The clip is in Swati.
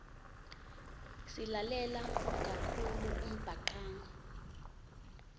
silalela kakhulu umbhacanga